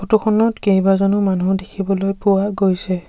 Photo খনত কেইবাজনো মানুহ দেখিবলৈ পোৱা গৈছে।